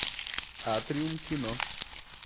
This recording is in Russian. атриум кино